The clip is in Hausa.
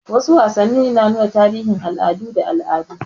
Wasu wasannin suna nuna tarihin al'adu da al'adu.